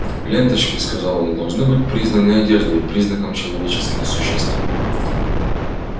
ленточки сказал он должны быть признаны одеждой признаком человеческих существ